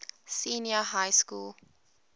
senior high school